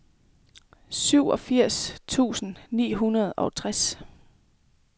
syvogfirs tusind ni hundrede og tres